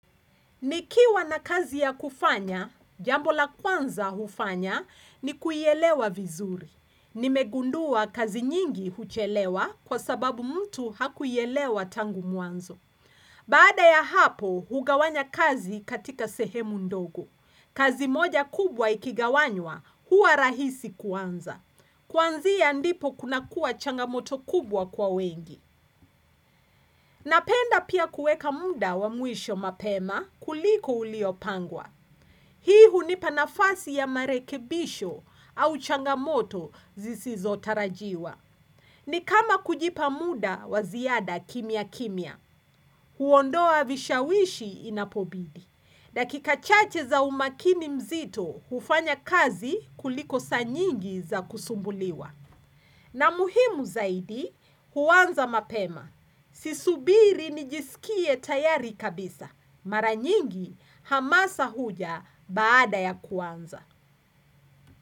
Nikiwa na kazi ya kufanya, jambola kwanza hufanya ni kuielewa vizuri. Nimegundua kazi nyingi huchelewa kwa sababu mtu hakuielewa tangu mwanzo. Baada ya hapo, hugawanya kazi katika sehemu ndogo. Kazi moja kubwa ikigawanywa, hua rahisi kwanza. Kwanzia ndipo kuna kuwa changamoto kubwa kwa wengi. Napenda pia kueka muda wa mwisho mapema kuliko uliopangwa. Hii hunipanafasi ya marekebisho au changamoto zisizo tarajiwa. Ni kama kujipa muda waziada kimya kimya. Huondoa vishawishi inapobidi. Dakika chache za umakini mzito hufanya kazi kuliko saa nyingi za kusumbuliwa. Na muhimu zaidi huanza mapema. Sisubiri nijisikie tayari kabisa. Maranyingi hamasa huja baada ya kuanza.